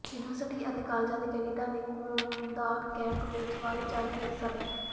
university ਅਤੇ ਕਾਲਜਾਂ ਦੇ ਕੈਡਿਟਾਂ ਨੇ ਖੂਨਦਾਨ ਕੈਂਪ ਵਿਚ ਵੱਧ ਚੜ੍ਹ ਕੇ ਹਿੱਸਾ ਲਿਆ